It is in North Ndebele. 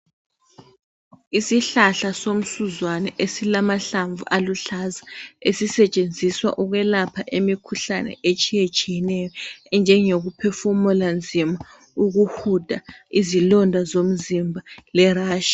Isihlahla somsuzwane esilamahlamvu aluhlaza esisetshenziswa ukwelapha imikhuhlane etshiyetshiyeneyo enjeyokuphefumula nzima, ukuhuda, izilonda zomzimba le-rashi.